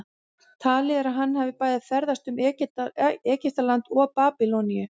talið er að hann hafi bæði ferðast um egyptaland og babýloníu